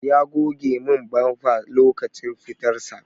Ya goge min bamfa lokacin fitar sa.